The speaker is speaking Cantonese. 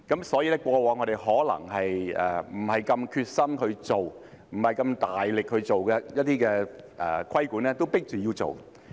所以，我們過往可能不太有決心去處理，不是那麼大力去做的一些規管工作，也被迫要做。